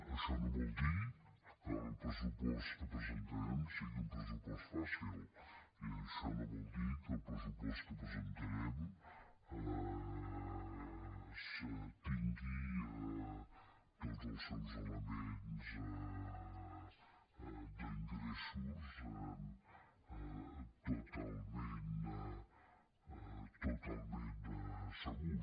això no vol dir que el pressupost que presentarem sigui un pressupost fàcil i això no vol dir que el pressupost que presentarem tingui tots els seus elements d’interessos totalment segurs